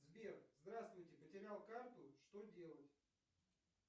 сбер здравствуйте потерял карту что делать